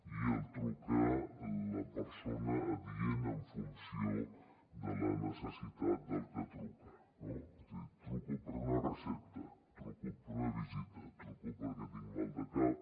i truca la persona adient en funció de la necessitat del que truca no és a dir truco per una recepta truco per una visita truco perquè tinc mal de cap